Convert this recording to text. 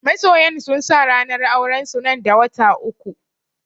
Masoyan sun sa ranar auren su nan da wata uku